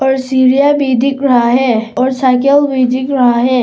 और सीढ़ियां भी दिख रहा है और साइकिल भी दिख रहा है।